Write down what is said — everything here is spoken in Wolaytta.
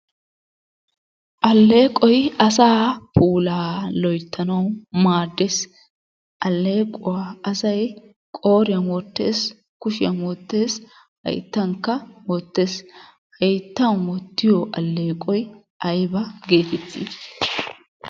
Alleeqoy asaa puulaa loyttanawu maaddees. Alleequwa asay qooriyan wottees, kushiyan wottees, hayttankka wottees. Hayttan wottiyo alleeqoy ayba geetettii?